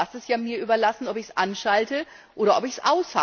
Aber auch das ist ja mir überlassen, ob ich es anschalte oder nicht.